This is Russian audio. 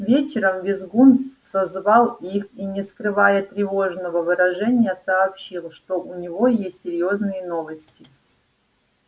вечером визгун созвал их и не скрывая тревожного выражения сообщил что у него есть серьёзные новости